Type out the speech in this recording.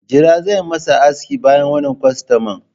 Jira zan yi ma aski bayan wannan kwastaman.